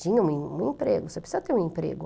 Tinha um em um emprego, você precisa ter um emprego.